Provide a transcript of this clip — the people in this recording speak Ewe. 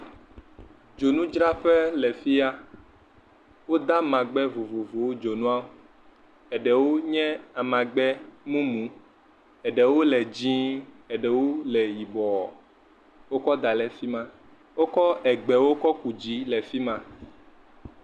dzonu dzraƒe le fiya wó de amagbe vovovowo dzinua eɖewo nye amagbe mumu eɖewo le dzĩ eɖewo le yibɔɔ wókɔ da le fima wókɔ eɖewo wókɔ́ ku dzi le fima